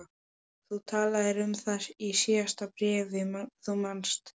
Þú talaðir um það í síðasta bréfi, þú manst.